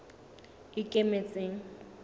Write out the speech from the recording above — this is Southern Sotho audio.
ikemetseng